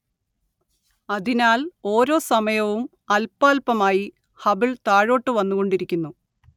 അതിനാൽ ഓരോ സമയവും അല്പാല്പമായി ഹബിൾ താഴോട്ടു വന്നുകൊണ്ടിരിക്കുന്നു